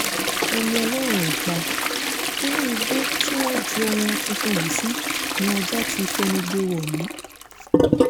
ẹni ọlọ́run ò pa inú igbó tí wọ́n ju ọmọ tuntun yìí sí ni ajá ti fẹnu gbé e wọ̀lú